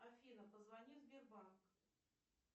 афина позвони в сбербанк